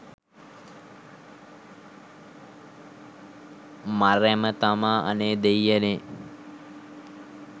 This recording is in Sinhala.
මරැම තමා අනේ දෙයියනේ.